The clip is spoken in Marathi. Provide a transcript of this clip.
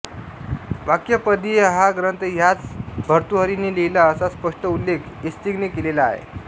वाक्यपदीय हा ग्रंथ ह्याच भर्तृहरीने लिहीला असा स्पष्ट उल्लेख इत्सिंगने केलेला आहे